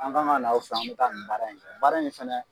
An kan ka na aw fɛ an bɛ taa nin baara in kɛ baara nin fɛnɛ